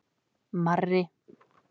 Marri